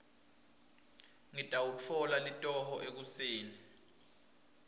ngitawutfola litoho ekuseni